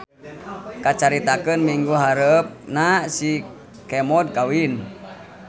Kacaritakeun minggu hareupna si Kemod kawin.